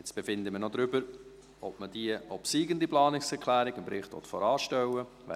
Jetzt befinden wir noch darüber, ob man die obsiegende Planungserklärung dem Bericht voranstellen will.